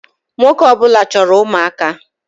Nwoke ọ bụla chọrọ ụmụaka